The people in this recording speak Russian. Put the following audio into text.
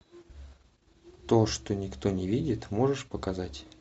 то что никто не видит можешь показать